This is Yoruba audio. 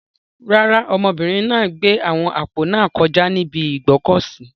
Rárá, ọmọbìnrin náà gbé àwọn àpò náà kọjá ní ibi ìgbọ́kọ̀sìí.